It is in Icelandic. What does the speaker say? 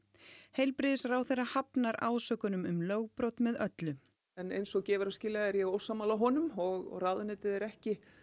heilbrigðisráðherra hafnar ásökunum um lögbrot með öllu eins og gefur að skilja er ég ósammála honum og ráðuneytið er ekki